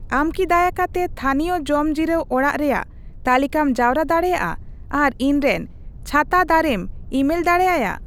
ᱟᱢ ᱠᱤ ᱫᱟᱭᱟ ᱠᱟᱛᱮ ᱛᱷᱟᱹᱱᱤᱭᱚ ᱡᱚᱢ ᱡᱤᱨᱟᱣ ᱚᱲᱟᱜ ᱨᱮᱭᱟᱜ ᱛᱟᱹᱞᱤᱠᱟᱢ ᱡᱟᱣᱨᱟ ᱫᱟᱲᱮᱭᱟᱜᱼᱟ ᱟᱨ ᱤᱧᱨᱮᱱ ᱪᱷᱟᱛᱟ ᱫᱟᱨᱮᱢ ᱤᱼᱢᱮᱞ ᱫᱟᱲᱮᱭᱟᱭᱟ